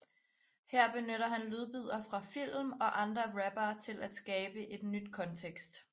Her benytter han lydbidder fra film og andre rappere til at skabe et nyt kontekst